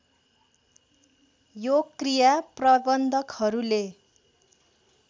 यो क्रिया प्रबन्धकहरूले